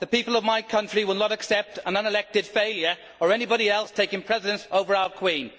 The people of my country will not accept an unelected failure or anybody else taking precedence over our Queen.